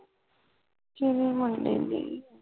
ਕੇਦੀ ਮੁੰਡੇ ਦੇ